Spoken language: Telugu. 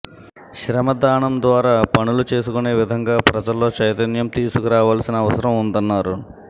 శ్రమదానం ద్వారా పనులు చేసుకునే విధంగా ప్రజల్లో చైతన్యం తీసుకురావాల్సిన అవసరం ఉందన్నారు